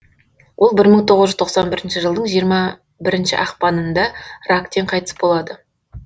ол бір мың тоғыз жүз тоқсан бірінші жылдың жиырма бірінші ақпанында рактен қайтыс болады